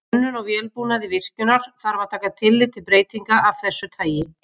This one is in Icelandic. Við hönnun á vélbúnaði virkjunar þarf að taka tillit til breytinga af þessu tagi.